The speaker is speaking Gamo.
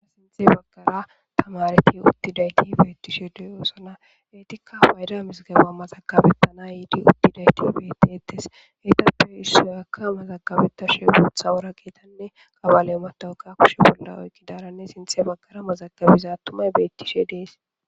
a sinthe baggara tamareti uttidayti beettishe diyoosona eetikka fayda misgaba mazagabettana yiidi uttidayti bettetes eetappe issuyakka mazagabetta she guutha wora geetanne kabale matowukka kushe bolda oygidaranne sinthe baggara mazagabiza attumay beettishe dees